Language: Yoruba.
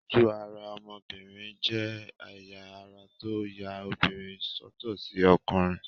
Ojú-ara ọmọbìnrin jẹ́ ẹ̀yà ara tó ya obìnrin sọ́tọ̀ sí ọkùnrin.